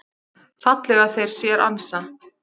fallega þeir sér ansa.